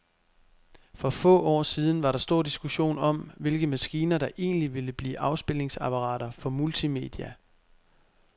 For få år siden var der stor diskussion om, hvilke maskiner, der egentlig ville blive afspilningsapparater for multimedia.